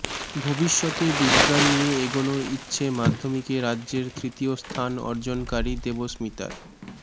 ভবিষ্যতে বিজ্ঞান নিয়ে এগোনোর ইচ্ছে মাধ্যমিকে রাজ্যের তৃতীয় স্থান অর্জনকারি দেবস্মিতার